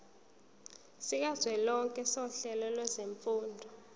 sikazwelonke sohlelo lwezifundo